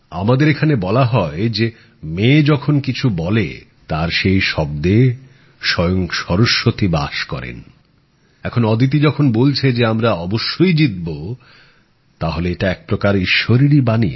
আমাদের এখানে বলা হয় মেয়ে যখন কিছু বলে তার সেই শব্দে স্বয়ং সরস্বতী বাস করেন এখন অদিতি যখন বলছে যে আমরা অবশ্যই জিতবো তাহলে এটা এক রকম ঈশ্বরেরই বাণী